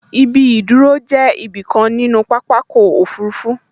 Ibi ìdúró jẹ́ ibi kan nínú pápákọ̀ òfurufú